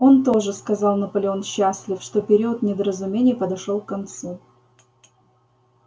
он тоже сказал наполеон счастлив что период недоразумений подошёл к концу